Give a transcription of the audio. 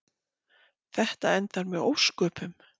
Þetta endar með ósköpum.